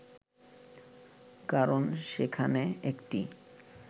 কারণ সেখানে একটি